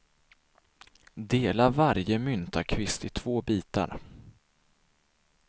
Dela varje myntakvist i två bitar.